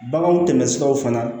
Baganw tɛmɛsiraw fana